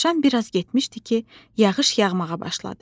Dovşan biraz getmişdi ki, yağış yağmağa başladı.